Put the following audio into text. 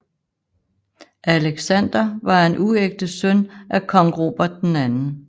Alexander var en uægte søn af kong Robert 2